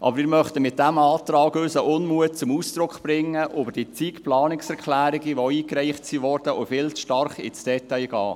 Mit diesem Antrag möchten wir aber unseren Unmut zum Ausdruck bringen über die zig Planungserklärungen, die eingereicht wurden und die viel zu stark ins Detail gehen.